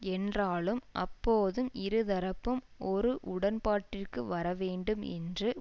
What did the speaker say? என்றாலும் அப்போதும் இருதரப்பும் ஒரு உடன்பாட்டிற்கு வரவேண்டும் என்று